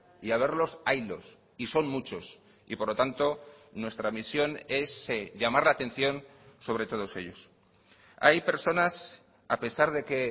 y haberlos haylos y son muchos y por lo tanto nuestra misión es llamar la atención sobre todos ellos hay personas a pesar de que